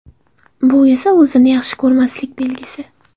Bu esa o‘zini yaxshi ko‘rmaslik belgisi.